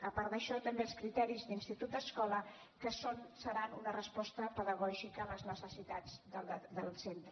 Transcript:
a part d’això també els criteris d’institut escola que seran una resposta pedagògica a les necessitats del centre